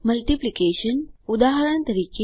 multiplication ઉદાહરણ તરીકે